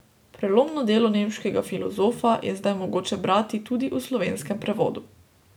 Prelomno delo nemškega filozofa je zdaj mogoče brati tudi v slovenskem prevodu.